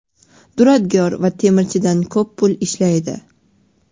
duradgor va temirchidan ko‘p pul ishlaydi.